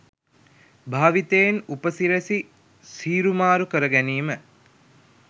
භාවිතයෙන් උපසිරැසි සීරුමාරු කර ගැනීම.